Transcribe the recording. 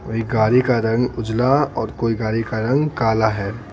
कोई गाड़ी का रंग उजला और कोई गाड़ी का रंग काला है।